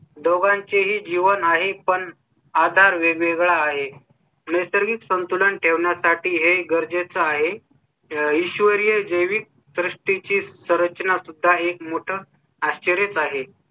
दोघांचेही जीवन आहे पण आधार वेगवेगळा आहे. निसर्ग संतुलन ठेवण्या साठी हे गरजेचं आहे. ईश्वरीय जेवीं सृष्टी ची संरचना सुद्धा एक मोठं आश्चर्यच आहे.